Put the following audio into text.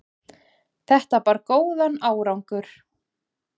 Þetta bar góðan árangur.